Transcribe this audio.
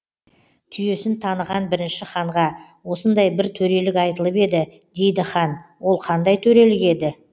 түйесін таныған бірінші ханға осындай бір төрелік айтылып еді дейді хан ол қандай төрелік еді